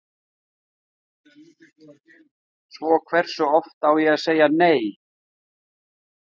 Svo hversu oft á ég að segja nei?